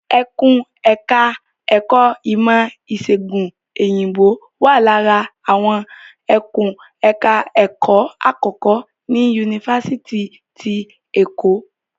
Ẹkùn ẹ̀ka ẹ̀kó ìmọ̀ ìṣègùn Òyìnbó wà lára àwọn ẹkùn ẹ̀ka ẹ̀kó àkọ́kọ́ ní Yunifásitì ti Èkó.